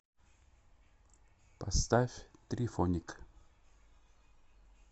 поставь трифоник